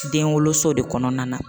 Den woloso de kɔnɔna na.